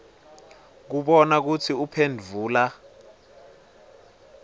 kubona kutsi uphendvula